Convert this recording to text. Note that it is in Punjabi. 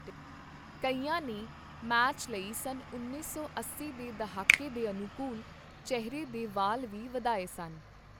ਕਈਆਂ ਨੇ ਮੈਚ ਲਈ ਸੰਨ ਉੱਨੀ ਸੌ ਅੱਸੀ ਦੇ ਦਹਾਕੇ ਦੇ ਅਨੁਕੂਲ ਚਿਹਰੇ ਦੇ ਵਾਲ ਵੀ ਵਧਾਏ ਸਨ।